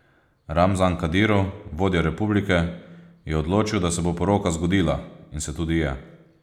Ramzan Kadirov, vodja republike, je odločil, da se bo poroka zgodila, in se tudi je.